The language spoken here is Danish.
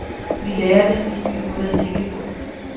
Vi lærer dem en ny måde at tænke på.